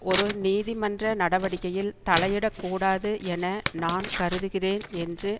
ஒரு நீதிமன்ற நடவடிக்கையில் தலையிடக் கூடாது என நான் கருதுகிறேன் என்று